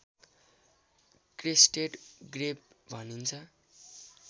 crested grebe भनिन्छ